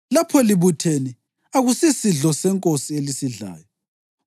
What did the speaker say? Lapho libuthene, akusiSidlo seNkosi elisidlayo,